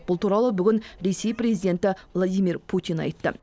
бұл туралы ресей президенті владимир путин айтты